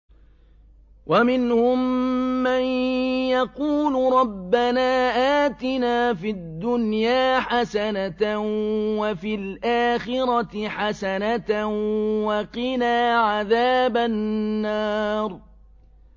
وَمِنْهُم مَّن يَقُولُ رَبَّنَا آتِنَا فِي الدُّنْيَا حَسَنَةً وَفِي الْآخِرَةِ حَسَنَةً وَقِنَا عَذَابَ النَّارِ